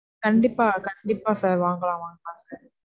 கண்டிப்பா, கண்டிப்பா sir. வாங்கலாம், வாங்கலாம் sir